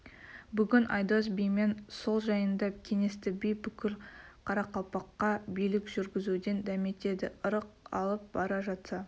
бүгін айдос бимен сол жайында кеңесті би бүкіл қарақалпаққа билік жүргізуден дәметеді ырық алып бара жатса